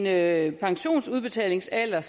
er en pensionsudbetalingsalder